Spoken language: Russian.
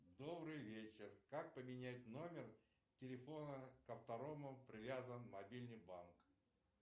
добрый вечер как поменять номер телефона к которому привязан мобильный банк